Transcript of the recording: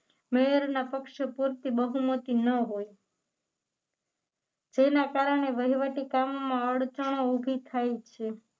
મેયરના પક્ષો પૂરતી બહુમતી ન હોય જેના કારણે વહીવટી કામમાં અડચણો ઊભી થાય છે